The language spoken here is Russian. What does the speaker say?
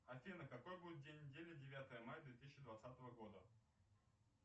афина какой будет день недели девятое мая две тысячи двадцатого года